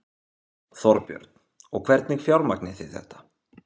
Þorbjörn: Og hvernig fjármagnið þið þetta?